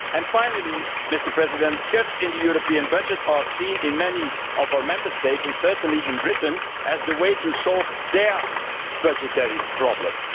Finally, cuts in the European budget are seen in many of our Member States, and certainly in Britain, as the way to solve their budgetary problems.